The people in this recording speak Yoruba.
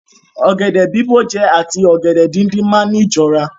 Ọ̀gẹ̀dẹ̀ bìbó jẹ àti ọ̀gẹ̀dẹ̀ díndín máa ni jọra.